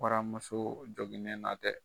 Waramuso joginnen na dɛ.